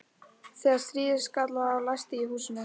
Þegar stríðið skall á læsti ég húsinu.